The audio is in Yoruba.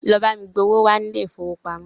Lọ bá mi gba owó wá ní ilé ìfowópamọ́!